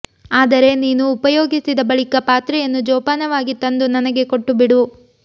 ಆದರೆ ನೀನು ಉಪಯೋಗಿಸಿದ ಬಳಿಕ ಪಾತ್ರೆಯನ್ನು ಜೋಪಾನವಾಗಿ ತಂದು ನನಗೆ ಕೊಟ್ಟುಬಿಡು